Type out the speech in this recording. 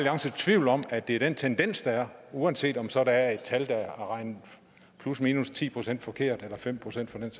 rejser tvivl om at det er den tendens der er uanset om der så er et tal der er regnet plusminus ti procent forkert eller fem procent forkert